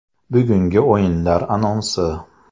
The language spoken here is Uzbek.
Bugungi o‘yinlar anonsi.